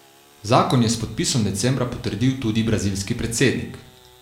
Zakon je s podpisom decembra potrdil tudi brazilski predsednik .